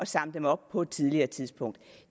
samle dem op på et tidligere tidspunkt